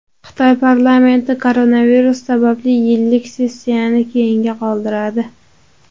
Xitoy parlamenti koronavirus sababli yillik sessiyani keyinga qoldiradi.